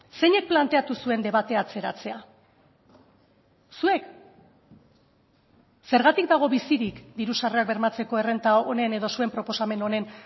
zeinek planteatu zuen debatea atzeratzea zuek zergatik dago bizirik diru sarrerak bermatzeko errenta honen edo zuen proposamen honen